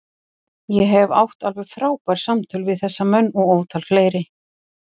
Ég hef átt alveg frábær samtöl við þessa menn og ótal fleiri.